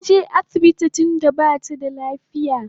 Taje asibiti tunda bata da lafiya